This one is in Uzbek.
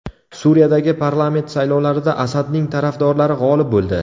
Suriyadagi parlament saylovlarida Asadning tarafdorlari g‘olib bo‘ldi.